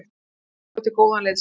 Ég gæti búið til góðan liðsanda.